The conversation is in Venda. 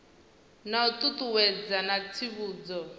na u ṱuṱuwedza na tsivhudzo